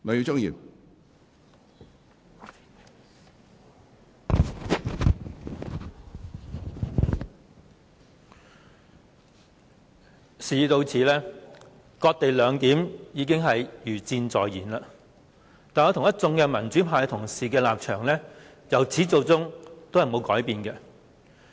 主席，事已到此，"割地兩檢"已是勢在必行，但我與一眾民主派同事的立場由始至終也沒有改變。